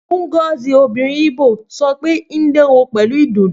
Ngozi, obìnrin Igbo, sọ pé Ndewo pẹ̀lú ìdùnnú.